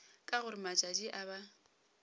ka gore matšatši a ba